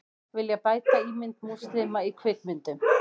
Vilja bæta ímynd múslima í kvikmyndum